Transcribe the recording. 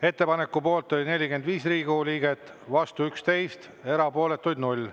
Ettepaneku poolt oli 45 Riigikogu liiget, vastu 11, erapooletuid 0.